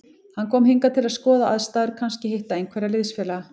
Hann kom hingað til að skoða aðstæður, kannski hitta einhverja liðsfélaga.